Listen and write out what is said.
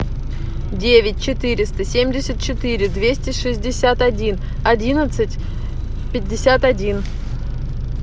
девять четыреста семьдесят четыре двести шестьдесят один одиннадцать пятьдесят один